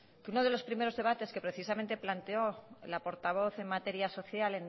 que uno de los primeros debates que precisamente planteó la portavoz de materia social